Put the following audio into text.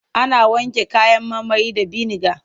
Ana wanke kayan marmari da biniga.